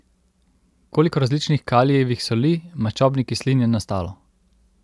Koliko različnih kalijevih soli maščobnih kislin je nastalo?